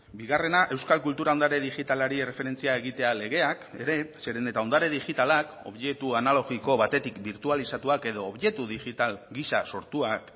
bigarrena euskal kultura ondare digitalari erreferentzia egitea legeak ere zeren eta ondare digitalak objektu analogiko batetik birtualizatuak edo objektu digital gisa sortuak